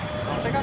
Təkər qırıldı.